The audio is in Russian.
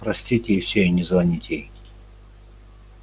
простить ей всё и не звонить ей